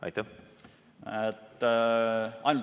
Aitäh!